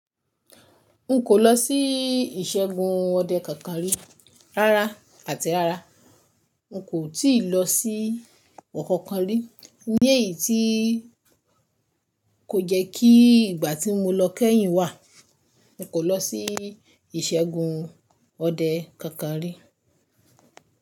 N kò lọ sí ìṣẹ́gun ọdẹ kankan rí. Rárá àti rárá, n kò tíì lọ sí ọ̀kọ̀ọ̀kan rí. Ní èyí tí kò jẹ́ kí ìgbà tí mo lọ kẹ́yìn wà, n kò lọ sí ìṣẹ́gun ọdẹ kankan rí.